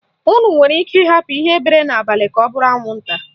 Unu nwere ike ịhapụ ihe bere n'abalị ka ọ bụrụ anwụnta.